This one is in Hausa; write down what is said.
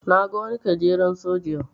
Na ga wani gajeren soja yau.